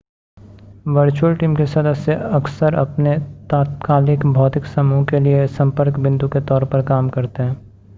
virtual team के सदस्य अक्सर अपने तात्कालिक भौतिक समूह के लिए संपर्क बिंदु के तौर पर काम करते हैं